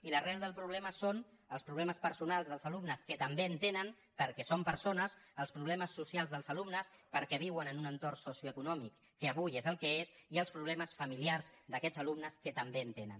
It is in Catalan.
i l’arrel del problema són els problemes personals dels alumnes que també en tenen perquè són persones els problemes socials dels alumnes perquè viuen en un entorn socioeconòmic que avui és el que és i els problemes familiars d’aquests alumnes que també en tenen